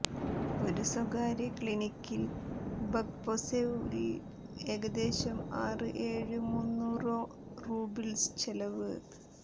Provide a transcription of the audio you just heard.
ഒരു സ്വകാര്യ ക്ലിനിക്കിൽ ബക്പൊസെവ് ൽ ഏകദേശം ആറ് ഏഴ് മുന്നൂറോ റൂബിൾസ് ചെലവ്